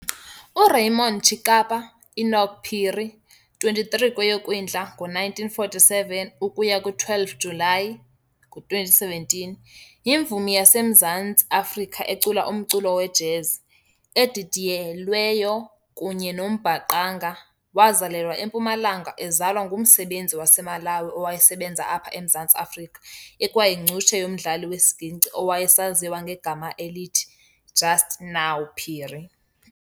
URaymond Chikapa Enock Phiri, 23 kweyoKwindla ngo1947 ukuya kwi-12 uJulayi ngo2017, yimvumi yaseMzantsi Afrika ecula umculo we"jazz", edidiyelweyo kunye nombhaqanga, wazalelwa eMpumalanga ezalwa ngumsebenzi waseMalawi owayesebenza apha eMzantsi Afrika ekwayincutshe yomdlali wesiginci owayezaziswa ngegama elithi "Just Now" Phiri.